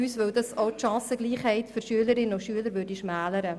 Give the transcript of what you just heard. Es würde auch die Chancengleichheit der Schülerinnen und Schüler schmälern.